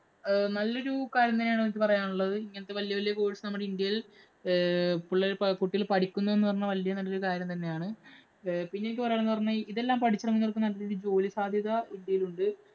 ആഹ് നല്ലൊരു കാര്യം തന്നെയാണ് എനിക്ക് പറയാന്‍ ഉള്ളത്. ഇങ്ങനത്തെ വല്യ വല്യ course ഉകള്‍ നമ്മുടെ ഇന്ത്യയില്‍ ഏർ പിള്ളേകുട്ടികള്‍ പഠിക്കുന്നു എന്ന് പറയുന്നത് വല്യ നല്ല കാര്യം തന്നെയാണ്. പിന്നെ എനിക്ക് പറയാന്‍ ഉള്ളതെന്ന് പറഞ്ഞാല്‍ ഇതെല്ലാം പഠിച്ചിറങ്ങുന്നവര്‍ക്കു നല്ലൊരു ജോലി സാധ്യത ഇന്ത്യയില്‍ ഉണ്ട്.